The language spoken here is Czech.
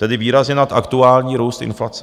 Tedy výrazně nad aktuální růst inflace.